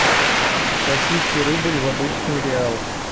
российский рубль в обычный реал